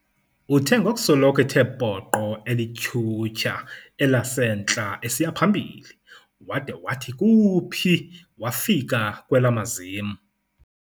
Uthe ngokusoloko ethe poqo elityhutyha, elasentla esiya phambili, wada wathi kuuphi wafika kwelamazim.